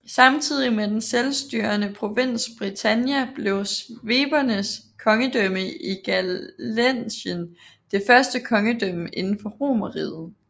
Samtidig med den selvstyrende provins Britannia blev svebernes kongedømme i Gallæcien det første kongedømme inden for Romerriget